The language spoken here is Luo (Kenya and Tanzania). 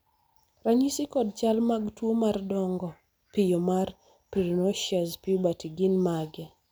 ranyisi kod chal mag tuo mar dongo piyo mar prenocious puberty gin mage?